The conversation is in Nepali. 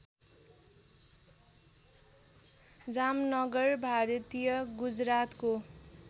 जामनगर भारतीय गुजरातको